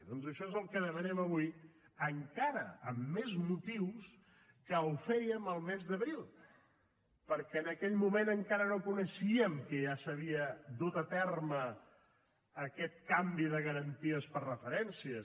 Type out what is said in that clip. doncs això és el que demanem avui encara amb més motius que quan ho fèiem al mes d’abril perquè en aquell moment encara no coneixíem que ja s’havia dut a terme aquest canvi de garanties per referències